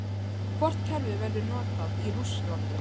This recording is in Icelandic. Hvort kerfið verður notað í Rússlandi?